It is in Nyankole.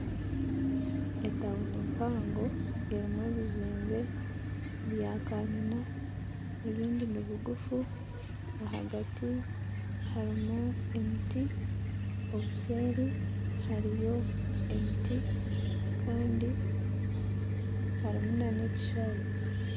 Etawuni mpango erimu ebizimbe bya kanyina ebindi nibiguufu ahagati harimu emiti, obuseeri hariyo emiti kandi harimu na n'ekishayi.